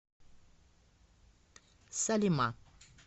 салима